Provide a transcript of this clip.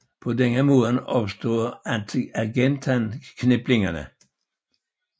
På denne måde opstod Argentan kniplingerne